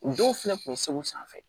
U dɔw fɛnɛ kun bɛ segu sanfɛ